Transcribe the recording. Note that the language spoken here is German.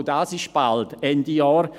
Auch das ist bald, Ende Jahr.